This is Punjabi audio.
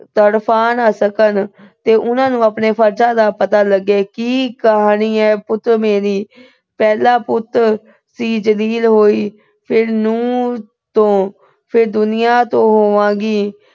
ਤੜਫਾ ਨਾ ਸਕਣ ਤੇ ਉਹਨਾਂ ਨੂੰ ਆਪਣੇ ਫਰਜਾਂ ਦਾ ਪਤਾ ਲੱਗੇ। ਕੀ ਕਹਾਣੀ ਆ ਪੁੱਤ ਮੇਰੀ। ਪਹਿਲਾ ਪੁੱਤ ਤੋਂ ਜਲੀਲ ਹੋਈ, ਫਿਰ ਨੂੰਹ ਤੋਂ, ਫਿਰ ਦੁਨੀਆ ਤੋਂ ਹੋਵਾਂਗੀ।